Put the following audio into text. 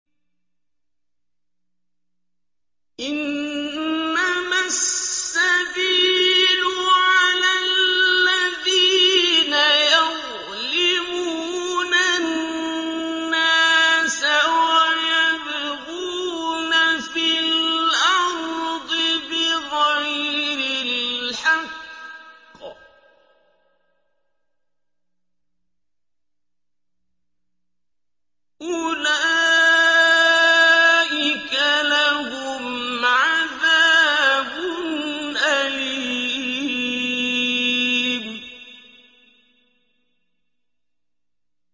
إِنَّمَا السَّبِيلُ عَلَى الَّذِينَ يَظْلِمُونَ النَّاسَ وَيَبْغُونَ فِي الْأَرْضِ بِغَيْرِ الْحَقِّ ۚ أُولَٰئِكَ لَهُمْ عَذَابٌ أَلِيمٌ